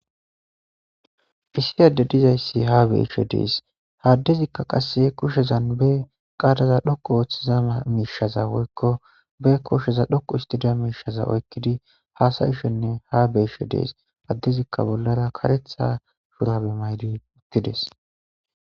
Issi addey de'izaysi ha betishe de'es. Ha addezika qase ba kushezan qala dhoqu histiza woyko ba kushezan dhoqu histiza misheza oykidi haasayishe ne ha betishe dees. Addezika bollara karetha shubare mayidi uttides.